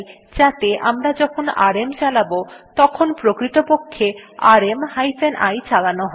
যাতে আমরা যখন আরএম চালাব তখন প্রকৃতপক্ষে আরএম হাইফেন i চালানো হয়